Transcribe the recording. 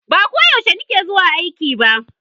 Ba ko yaushe ni ke zuwa aiki ba